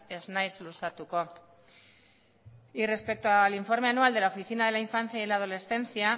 ez naiz luzatuko y respecto al informe anual de la oficina de la infancia y de la adolescencia